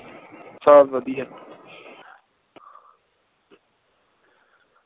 ਸਬ ਵਧੀਆ ਹੈ